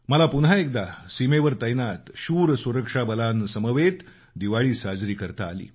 मला पुन्हा एकदा सीमेवर तैनात शूर सुरक्षा बलांसमवेत दिवाळी साजरी करता आली